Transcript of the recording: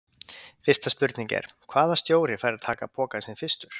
Fyrsta spurning er: Hvaða stjóri fær að taka pokann sinn fyrstur?